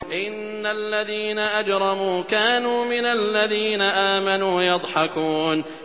إِنَّ الَّذِينَ أَجْرَمُوا كَانُوا مِنَ الَّذِينَ آمَنُوا يَضْحَكُونَ